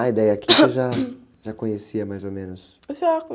Ah, e daí aqui você já, já conhecia mais ou menos?á.